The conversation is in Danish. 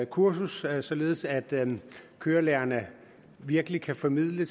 kursus således at kørelærerne virkelig kan formidle